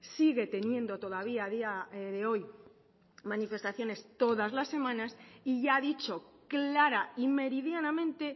sigue teniendo todavía a día de hoy manifestaciones todas las semanas y ya ha dicho clara y meridianamente